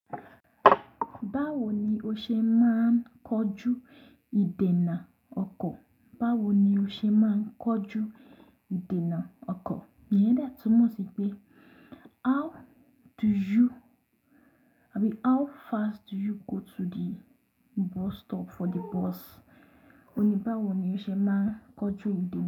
Báwo ni o ṣe máa ń kojú ìdènà ọkọ̀? Báwo ni o ṣe máa ń kojú ìdènà ọkọ̀? Iyen de túnmọ̀ sí pé how do you-- àbí how fast do you go to the bus stop for the bus? Óun ní báwo ni o ṣe máa ń kojú ìdènà.